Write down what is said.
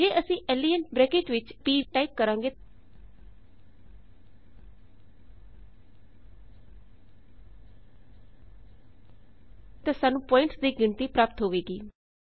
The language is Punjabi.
ਜੇ ਅਸੀਂ ਲੇਨ ਬਰੈਕਟ ਵਿਚ p ਟਾਇਪ ਕਰਾਂਗੇ ਤਾਂ ਸਾਨੂੰ ਪੁਆਇੰਟਸ ਦੀ ਗਿਣਤੀ ਪ੍ਰਾਪਤ ਹੋਵੇਗੀ